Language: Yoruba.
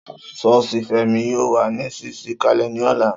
Soosi Femi yóó wà ní ṣíṣí kalẹ ni ọ̀la